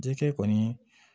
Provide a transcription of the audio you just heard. Dikɛ kɔni